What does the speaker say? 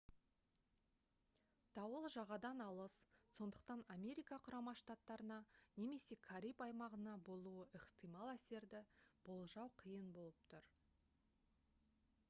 дауыл жағадан алыс сондықтан америка құрама штаттарына немесе кариб аймағына болуы ықтимал әсерді болжау қиын болып тұр